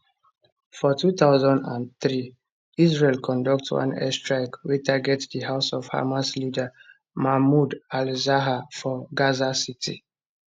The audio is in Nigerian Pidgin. for 2003 israel conduct one airstrike wey target di house of hamas leader mahmoud alzahar for gaza city